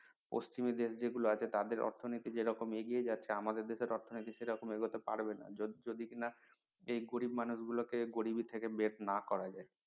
পশ্চিমি দেশ যেগুলো আছে তাদের অর্থনীতি যেরকম এগিয়ে যাচ্ছে আমাদের দেশের অর্থনীতি সেরকম এগোতে পারবেনা যদি যদি না যে গরিব মানুষ গুলো কে গরিবি থেকে বের না করা যায়